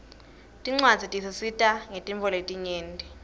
tincuadzi tisisita ngetintfo letinyenti